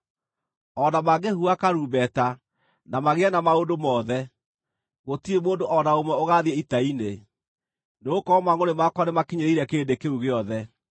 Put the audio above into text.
O na mangĩhuha karumbeta, na magĩe na maũndũ mothe, gũtirĩ mũndũ o na ũmwe ũgaathiĩ ita-inĩ, nĩgũkorwo mangʼũrĩ makwa nĩmakinyĩrĩire kĩrĩndĩ kĩu gĩothe.